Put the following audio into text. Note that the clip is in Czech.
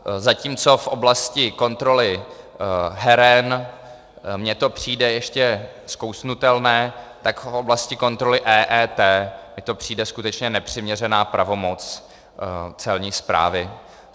Zatímco v oblasti kontroly heren mi to přijde ještě skousnutelné, tak v oblasti kontroly EET mi to přijde skutečně nepřiměřená pravomoc Celní správy.